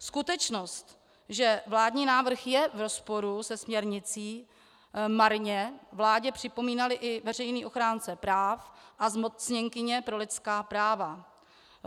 Skutečnost, že vládní návrh je v rozporu se směrnicí, marně vládě připomínali i veřejný ochránce práv a zmocněnkyně pro lidská práva.